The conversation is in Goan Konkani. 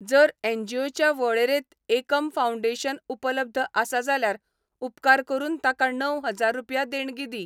जर एनजीओच्या वळेरेंत एकम फाउंडेशन उपलब्ध आसा जाल्यार उपकार करून ताका णव हजार रुपया देणगी दी.